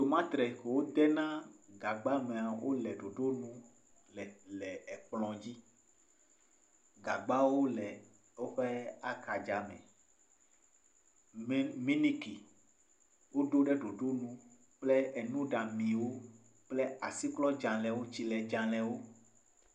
Tomates yike wodena gagba mea, wole ɖoɖonu le kplɔ dzi, gagbawo le woƒe axadza me, miniki woɖo ɖe ɖoɖonu, kple enuɖamiwo kple asiklɔdzalewo, tsiledzalewo.